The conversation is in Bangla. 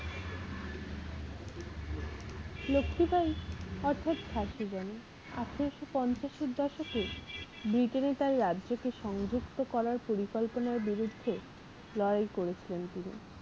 লক্ষীবাঈ অর্থাৎ ঝাঁসির রানী আঠারোশো পঞ্চাশ এর দশকে ব্রিটেনে তার রাজ্যকে সংযুক্ত করার পরিকল্পনার বিরুদ্ধে লড়াই করেছিলেন তিনি।